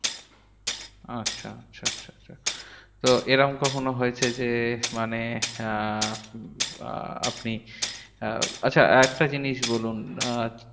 আচ্ছা আচ্ছা আচ্ছা তো এরম কখনো হয়েছে? যে মানে আহ উম আপনি আহ আচ্ছা আরেকটা জিনিস বলুন, আহ